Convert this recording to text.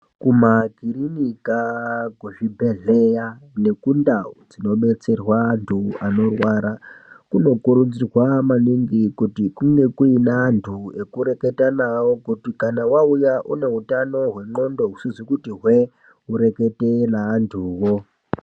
Kumakirinika, kuzvibhedhleya nokundawu dzinobetserwa antu anorwara, kunokurudzirwa maningi kuti kunge kuyine antu ekureketa nawo, kuti kana wauya uneutano hwenxondo husizi kuti hwee, urekete neantuwo.